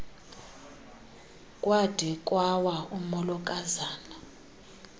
kwade kwawa umolokazana